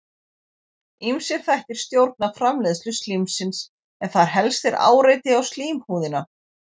Ýmsir þættir stjórna framleiðslu slímsins en þar helst er áreiti á slímhúðina.